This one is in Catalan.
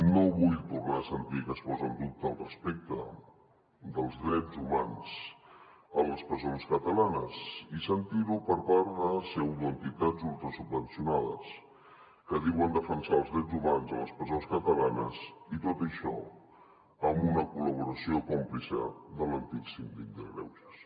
no vull tornar a sentir que es posa en dubte el respecte dels drets humans a les presons catalanes i sentir ho per part de pseudoentitats ultrasubvencionades que diuen defensar els drets humans a les presons catalanes i tot això amb una col·laboració còmplice de l’antic síndic de greuges